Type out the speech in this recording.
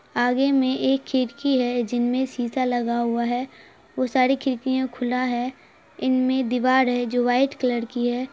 आगे में एक खिड़की है जिन में शीशा लग हुआ है वो सारी खिड़कियां खुला है इनमें दीवार है जो व्हाइट कलर कि है।